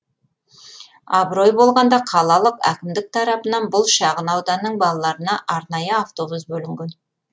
абырой болғанда қалалық әкімдік тарапынан бұл шағын ауданның балаларына арнайы автобус бөлінген